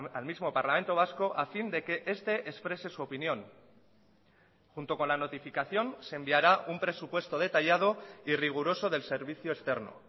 al mismo parlamento vasco a fin de que este exprese su opinión junto con la notificación se enviará un presupuesto detallado y riguroso del servicio externo